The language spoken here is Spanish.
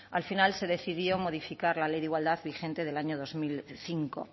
al final se decidió modificar la ley de igualdad vigente del año dos mil cinco